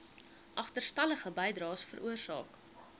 agterstallige bydraes veroorsaak